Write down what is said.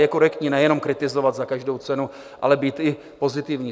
Je korektní nejen kritizovat za každou cenu, ale být i pozitivní.